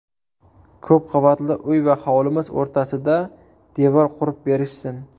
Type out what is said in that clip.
Ko‘p qavatli uy va hovlimiz o‘rtasida devor qurib berishsin.